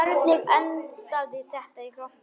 Hvernig endaði þetta í glompu?